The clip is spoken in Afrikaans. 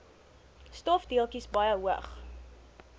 stofdeeltjies baie hoog